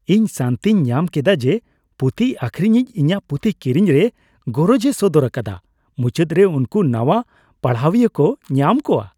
ᱤᱧ ᱥᱟᱹᱱᱛᱤᱧ ᱧᱟᱢ ᱠᱮᱫᱟ ᱡᱮ ᱯᱩᱛᱷᱤ ᱟᱠᱷᱨᱤᱧᱤᱡ ᱤᱧᱟᱹᱜ ᱯᱩᱛᱷᱤ ᱠᱤᱨᱤᱧ ᱨᱮ ᱜᱚᱨᱚᱡᱽ ᱮ ᱥᱚᱫᱚᱨ ᱟᱠᱟᱫᱟ ᱾ ᱢᱩᱪᱟᱹᱫ ᱨᱮ ᱩᱱᱠᱩ ᱱᱟᱣᱟ ᱯᱟᱲᱦᱟᱣᱤᱭᱟᱹ ᱠᱚ ᱧᱟᱢ ᱠᱚᱣᱟ ᱾